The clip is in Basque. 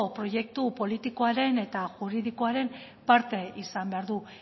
proiektu politikoaren eta juridikoaren parte izan behar du